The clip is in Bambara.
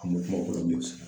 An